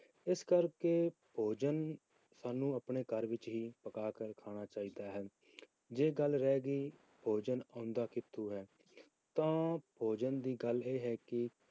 ਇਸ ਕਰਕੇ ਭੋਜਨ ਸਾਨੂੰ ਆਪਣੇ ਘਰ ਵਿੱਚ ਹੀ ਪਕਾ ਕੇ ਖਾਣਾ ਚਾਹੀਦਾ ਹ ਜੇ ਗੱਲ ਰਹਿ ਗਈ ਭੋਜਨ ਆਉਂਦਾ ਕਿੱਥੋਂ ਹੈ, ਤਾਂ ਭੋਜਨ ਦੀ ਗੱਲ ਇਹ ਹੈ ਕਿ